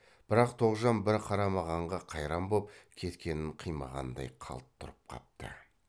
бірақ тоғжан бір қарамағанға қайран боп кеткенін қимағандай қалт тұрып қапты